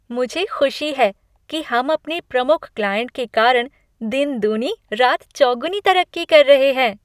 मुझे खुशी है कि हम अपने प्रमुख क्लाइंट के कारण दिन दूनी रात चौगुनी तरक्की कर रहे हैं।